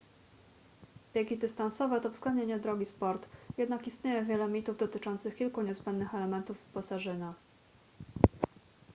biegi dystansowe to względnie niedrogi sport jednak istnieje wiele mitów dotyczących kilku niezbędnych elementów wyposażenia